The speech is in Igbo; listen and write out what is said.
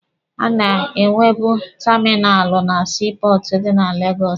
A na-enwebu taminalụ na sii pọọtụ dị na Legọsụ.